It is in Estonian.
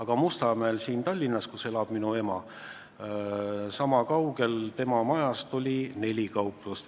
Ja Mustamäel, siin Tallinnas, kus elab minu ema, oli sama kaugel tema majast neli kauplust.